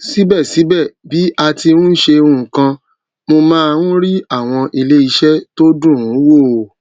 síbẹsíbẹ bí a ti n ṣe nkan mo máa n rí àwọn iléiṣẹ tó dùn wò